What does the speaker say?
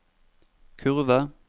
kurve